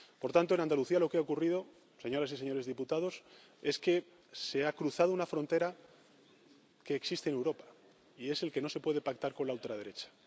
Por tanto, en Andalucía, lo que ha ocurrido, señoras y señores diputados, es que se ha cruzado una frontera que existe en Europa, y es que no se puede pactar con la ultraderecha.